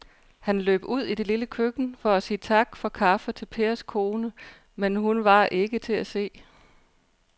Han løb ud i det lille køkken for at sige tak for kaffe til Pers kone, men hun var ikke til at se.